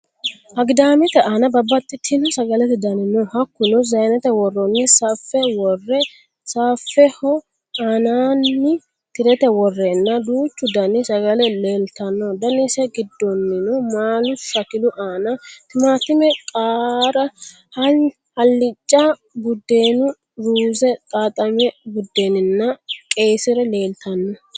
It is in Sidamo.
Agidaamete aana babbaxxitino Sagalete dani no Hakkuno Zaynete woroonni saffe worre saffeho aanaanni ti'rete worreenna duuchu dani Sagale leellitanno: Danise giddonnino maalu shakilu aana, Timaatime, qaara, hallicca, buddeenu, ruuze, xaaxamino buddeeni nna qeyyisire leeltanno.